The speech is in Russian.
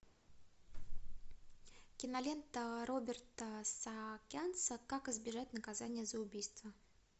кинолента роберта саакянца как избежать наказания за убийство